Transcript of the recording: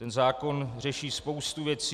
Ten zákon řeší spoustu věcí.